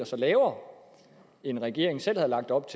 lavere end regeringen selv havde lagt op